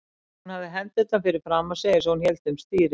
Hún hafði hendurnar fyrir framan sig eins og hún héldi um stýri.